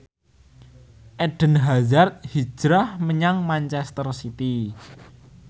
Eden Hazard hijrah menyang manchester city